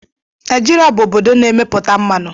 Naijiria bụ obodo na-emepụta mmanụ.